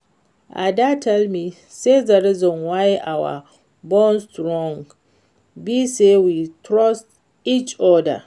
Ada tell me say the reason why our bond strong be say we trust each other